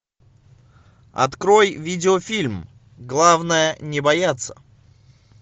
открой видеофильм главное не бояться